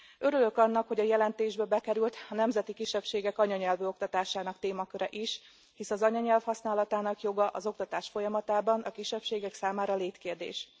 Örülök annak, hogy a jelentésbe bekerült a nemzeti kisebbségek anyanyelvű oktatásának témaköre is, hisz az anyanyelv használatának joga az oktatás folyamatában a kisebbségek számára létkérdés.